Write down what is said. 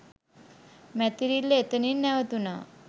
මැතිරිල්ල එතනින් නැවතුනා